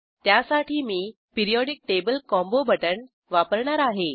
त्यासाठी मी periodic table combo button वापरणार आहे